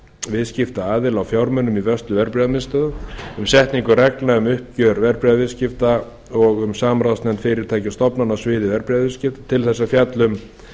viðskiptaaðila á fjármunum í vörslu verðbréfamiðstöðva um setningu reglna um uppgjör verðbréfaviðskipta og um samráðsnefnd fyrirtækja og stofnana á sviði verðbréfaviðskipta til þess að fjalla um